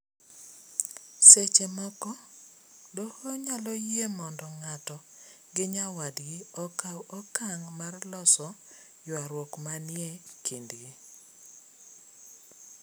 Seche moko doho nyalo yie mondo ng'ato gi nyawadgi okaw okang' mar loso ywaruok manie kindgi.